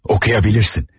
Oxuya bilirsən.